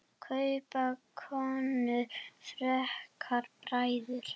Kaupa konur frekar bækur?